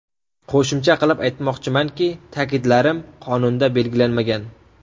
Qo‘shimcha qilib aytmoqchimanki, ta’kidlarim qonunda belgilanmagan.